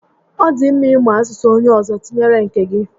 Ọ dị mma ị mụ asụsụ onyé ọzọ tinyere nke gị